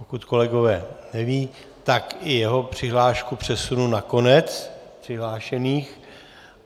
Pokud kolegové nevědí, tak i jeho přihlášku přesunu na konec přihlášených.